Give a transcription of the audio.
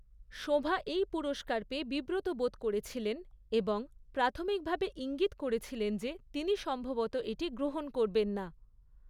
শোঁভা এই পুরস্কার পেয়ে বিব্রতবোধ করেছিলেন এবং প্রাথমিকভাবে ইঙ্গিত করেছিলেন যে তিনি সম্ভবত এটি গ্রহণ করবেন না।